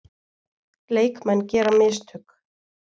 Leikmenn gera mistök.